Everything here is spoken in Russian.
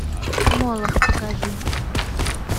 молох покажи